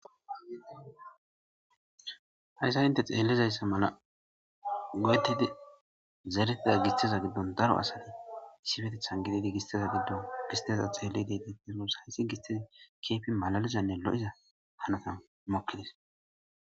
Hayissa inte xelizayissa mala goyetidi zeretida gisiteza giddonni daro asati issippeteththan gididi gisiteza giddonni gisiteza xeelidi detees gussakko hisitin gisiteza kehippe malalizanne lo'izza hanota mokes.